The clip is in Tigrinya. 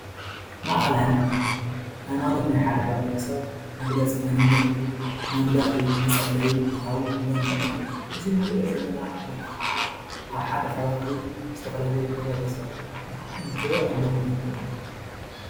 ማእኸል ሃይማኖት-ሃይማኖት ናይ ሓደ ሕብረተሰብ መግለፂ መንነት እዩ፡፡ መምለኺ፣ መፀለዪ ክንብሎ ንኽእል ኢና እዚ ንሪኦ ዘለና ቦታ ከዓ ኣብ ሓደ ከባቢ ዝተፈላለዩ ሕብረተሰብ እንተምልኹ እንተለዉ እዩ፡፡